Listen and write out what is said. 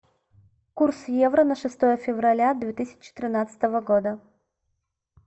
курс евро на шестое февраля две тысячи тринадцатого года